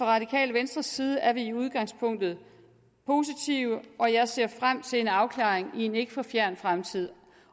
radikale venstres side er vi i udgangspunktet positive og jeg ser frem til en afklaring i en ikke for fjern fremtid